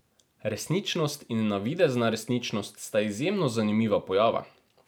Resničnost in navidezna resničnost sta izjemno zanimiva pojava.